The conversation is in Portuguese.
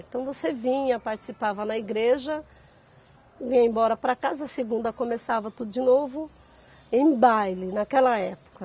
Então você vinha, participava na igreja, ia embora para casa segunda, começava tudo de novo, em baile, naquela época.